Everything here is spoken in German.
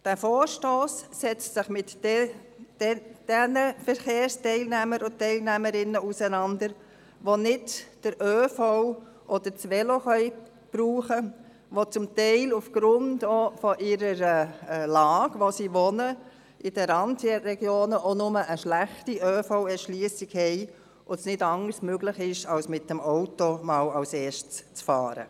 Dieser Vorstoss setzt sich mit den Verkehrsteilnehmerinnen und -teilnehmern auseinander, die nicht den ÖV oder das Velo brauchen können, die teilweise aufgrund ihrer Wohnlage in den Randregionen auch nur eine schlechte ÖV-Erschliessung haben, sodass es ihnen deshalb nicht anders möglich ist, als erst einmal mit dem Auto loszufahren.